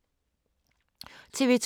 TV 2